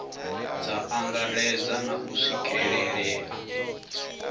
dza angaredza na u swikelelea